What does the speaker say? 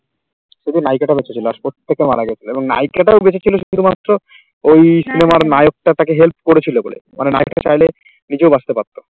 এই যে নায়িকা টা রয়েছে সে last পর্যন্ত প্রত্যেককে মারা গেছিল এবং নায়িকাটাও বেঁচে ছিল শুধুমাত্র ওই সিনেমার নায়কটা তাকে help করেছিল বলে মানে নায়ক টা চাইলে নিজেও বাঁচতে পারতো।